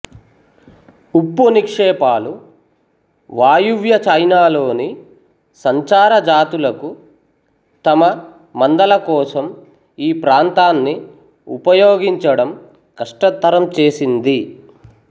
ఉప్పు నిక్షేపాలు వాయువ్య చైనాలోని సంచార జాతులకు తమ మందల కోసం ఈ ప్రాంతాన్ని ఉపయోగించడం కష్టతరం చేసింది